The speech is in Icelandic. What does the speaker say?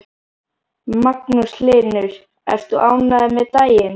Magnús Hlynur: Ert þú ánægður með daginn?